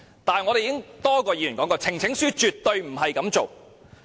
但是，我們已有多位議員說過，呈請書絕不應這樣處理。